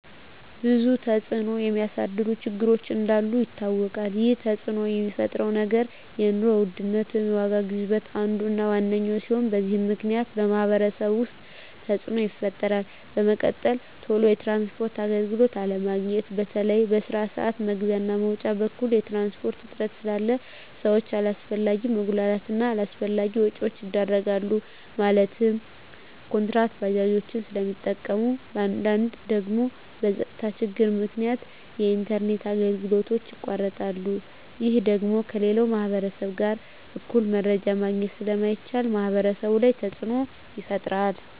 ብዙ ተፅዕኖ የሚያሳድሩ ችግሮች እንዳሉ ይታወቃል ይህ ተፅዕኖ የሚፈጥረው ነገር የኑሮ ውድነት ወይም የዋጋ ግሽበት አንዱ እና ዋነኛው ሲሆን በዚህ ምክንያት በማህበረሰቡ ውስጥ ተፅዕኖ ይፈጥራል በመቀጠል ቶሎ የትራንስፖርት አገልግሎት አለማግኘት በተለይ በስራ ስዓት መግቢያ እና መውጫ በኩል የትራንስፖርት እጥረት ስላለ ሰዎች አላስፈላጊ መጉላላት እና አላስፈላጊ ወጪዎች ይዳረጋሉ ማለትም ኩንትራት ባጃጆችን ስለሚጠቀሙ በአንዳንድ ደግሞ በፀጥታ ችግር ምክንያት የኢንተርኔት አገልግሎቶች ይቋረጣሉ ይህ ደግሞ ከሌላው ማህበረሰብ ጋር እኩል መረጃ ማግኘት ስለማይቻል ማህበረሰቡ ላይ ተፅዕኖ ይፈጥራል